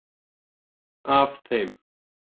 Af þeim